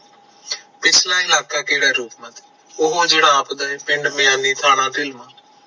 ਪਿਛਲਾ ਇਲਾਕਾ ਕਿਹੜਾ ਰੂਪਮਤੀ ਉਹ ਜਿਹੜਾ ਆਪ ਦਾ ਪਿੰਡ ਮਿਆਨੀ ਥਾਣਾ